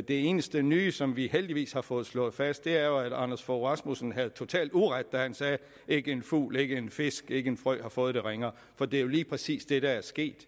det eneste nye som vi heldigvis har fået slået fast er jo at anders fogh rasmussen havde totalt uret da han sagde at ikke en fugl ikke en fisk ikke en frø har fået det ringere for det er jo lige præcis det der er sket